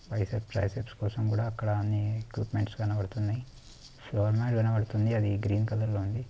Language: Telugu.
బైసెప్స్ ట్రై సెప్స్ కొసం అక్కడ అన్ని ఎక్విప్మెంట్స్ కనబడుతున్నాయి. ఫ్లోర్ మాట్ కనపడుతుంది అది గ్రీన్ కలర్ లో ఉంది.